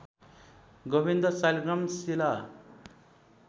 Govind Saligram Shila